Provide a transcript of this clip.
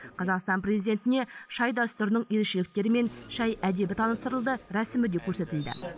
қазақстан президентіне шай дәстүрінің ерекшеліктері мен шай әдебі таныстырылды рәсімі де көрсетілді